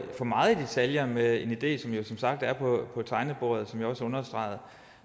for meget i detaljer med en idé som jo som sagt er på tegnebordet hvad jeg også understregede